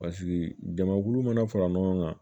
Paseke jamakulu mana fara ɲɔgɔn kan